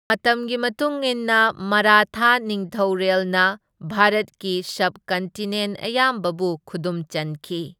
ꯃꯇꯝꯒꯤ ꯃꯇꯨꯡ ꯏꯟꯅ ꯃꯔꯥꯊꯥ ꯅꯤꯡꯊꯩꯔꯦꯜꯅ ꯚꯥꯔꯠꯀꯤ ꯁꯕ ꯀꯟꯇꯤꯅꯦꯟ ꯑꯌꯥꯝꯕꯕꯨ ꯈꯨꯗꯨꯝ ꯆꯟꯈꯤ꯫